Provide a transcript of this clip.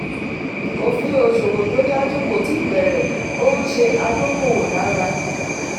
òfin òṣòwò tó dájú kó tíì bẹ̀rẹ̀ ó ń ṣe adókòwò lára.